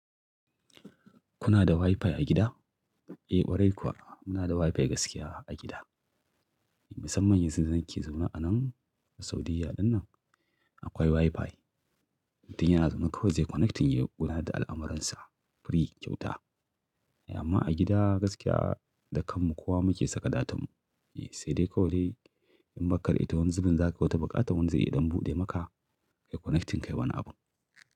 Kuna da Wi-Fi a gida? Eh, ƙwarai kuwa muna da Wi-Fi gaskiya a gida. Musamman yanzu da nake zaune a nan, a Saudiya ɗinnan akwai Wi-Fi. Mutum yana zaune kawai zai connecting ya ƙuna da al'amuransa free kyauta. Amma a gida gaskiya da kanmu kowa muke saka datan. Sai dai kawai dai in baka da ita wani zu bin za ka wata buƙata wani zai iya dan buɗe maka ka yi connecting kai wani abun.